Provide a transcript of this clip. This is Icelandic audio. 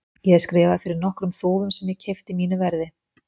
Ég er skrifaður fyrir nokkrum þúfum, sem ég keypti mínu verði.